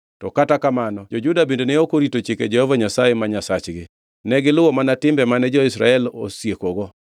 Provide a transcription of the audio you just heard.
to kata kamano jo-Juda bende ne ok orito chike Jehova Nyasaye ma Nyasachgi. Negiluwo mana timbe mane jo-Israel osiekogo.